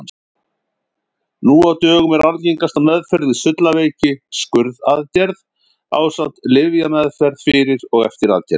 Nú á dögum er algengasta meðferð við sullaveiki skurðaðgerð ásamt lyfjameðferð fyrir og eftir aðgerð.